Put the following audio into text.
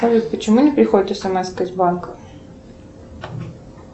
салют почему не приходит смска из банка